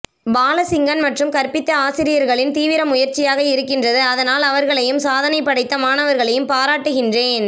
பாலசிங்கன் மற்றும் கற்பித்த ஆசிரியர்களின் தீவிரமுயற்சியாக இருக்கின்றது அதனால் அவர்களையும் சாதனைபடைத்த மாணவர்களையும் பாராட்டுகின்றேன்